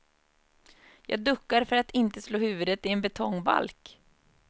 Jag duckar för att inte slå huvudet i en betongbalk.